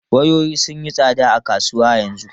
Wayoyi sun yi tsada a kasuwa yanzu.